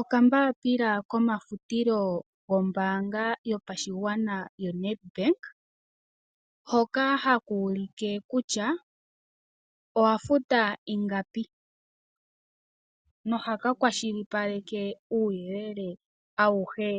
Okambapila komafutilo gombaanga yopashigwana ya Nedbank hoka haka ulike kutya owa futa ingapi nohaka kwashilipaleke uuyelele awuhe